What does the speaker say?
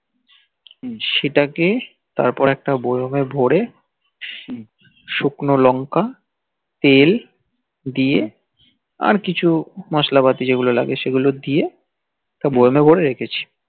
সেটাকে তারপর একটা বয়ামে ভরে সুকন লঙ্কা তেল দিয়ে আর কিছু মসলা পাতি যেগুলো লাগে সেগুল দিয়ে বয়ামে ভরে রেখেছি